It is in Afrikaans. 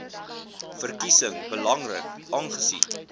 verkiesing belangrik aangesien